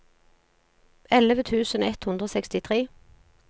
elleve tusen ett hundre og sekstitre